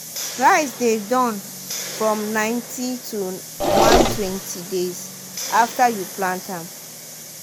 rice dey done from ninety to one-twenty days after you plant am.